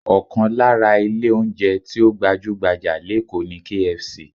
Ọkàn lára ilé oúnjẹ tí ó gbajú-gbajà lékòó ni KFC